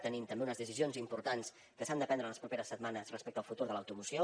tenim també unes decisions importants que s’han de prendre en les properes setmanes respecte al futur de l’automoció